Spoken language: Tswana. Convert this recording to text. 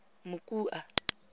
mokua